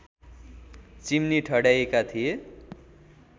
chimney ठड्याइएका थिए